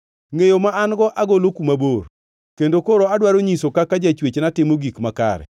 Ngʼeyo ma an-go agolo kuma bor; kendo koro adwaro nyiso kaka Jachwechna timo gik makare.